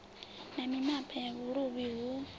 na mimapa ya vhuluvhi hu